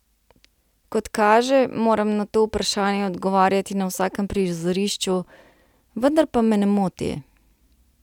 Kot kaže, moram na to vprašanje odgovarjati na vsakem prizorišču, vendar pa me ne moti.